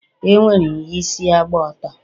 e nwere isi agba atọ.